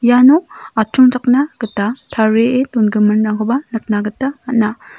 iano atchongchakna gita tarie dongiminrangkoba nikna gita man·a.